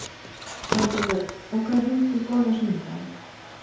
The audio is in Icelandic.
Svanbergur, bókaðu hring í golf á sunnudaginn.